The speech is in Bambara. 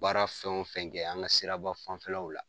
Baara fɛn o fɛn kɛ an ka siraba fanfɛlaw la